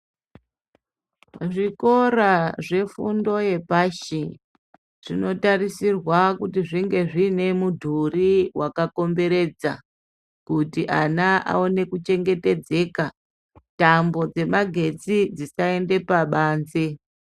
Zvikora zvefundo yepashi zvinotarisirwa kuti zvinge zvine mudhuri wakakomberedza kuti ana aone kuchengetedzeka tambo dzemagetsi dzisaende pabanze.